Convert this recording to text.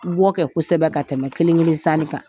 U b'o kɛ kosɛbɛ ka tɛmɛ kelen-kelen sanni kan